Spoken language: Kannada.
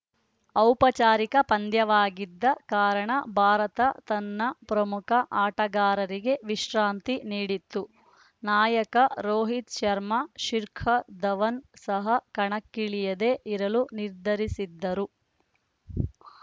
ಔಪಚಾರಿಕ ಪಂದ್ಯವಾಗಿದ್ದ ಕಾರಣ ಭಾರತ ತನ್ನ ಪ್ರಮುಖ ಆಟಗಾರರಿಗೆ ವಿಶ್ರಾಂತಿ ನೀಡಿತ್ತು ನಾಯಕ ರೋಹಿತ್‌ ಶರ್ಮಾ ಶಿಖರ್‌ ಧವನ್‌ ಸಹ ಕಣಕ್ಕಿಳಿಯದೆ ಇರಲು ನಿರ್ಧರಿಸಿದ್ದರು